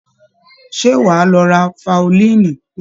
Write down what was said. Ṣé wàá lọ ra faolíìnì?